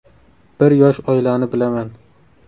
Bir yosh oilani bilaman.